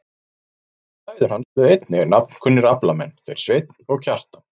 Tveir bræður hans urðu einnig nafnkunnir aflamenn, þeir Sveinn og Kjartan.